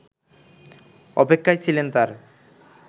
অপেক্ষায় ছিলেন তার